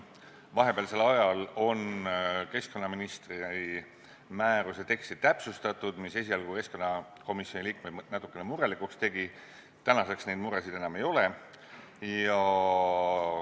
Vahepealsel ajal on keskkonnaministri määruse teksti täpsustatud, mis esialgu keskkonnakomisjoni liikmeid natukene murelikuks tegi, tänaseks neid muresid enam ei ole.